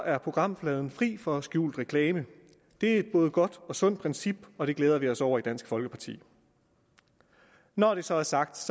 er programfladen fri for skjult reklame det er et både godt og sundt princip og det glæder vi os over i dansk folkeparti når det så er sagt